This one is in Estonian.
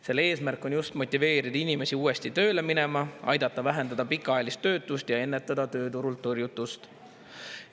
Selle eesmärk on motiveerida inimesi uuesti tööle minema, aidata vähendada pikaajalist töötust ja ennetada tööturult tõrjutust.